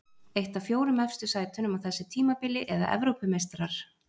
Eitt af fjórum efstu sætunum á þessu tímabili eða Evrópumeistarar?